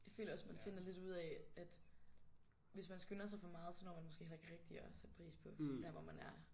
Jeg føler også man finder lidt ud af at hvis man skynder sig for meget så når man måske heller ikke rigtig at sætte pris på der hvor man er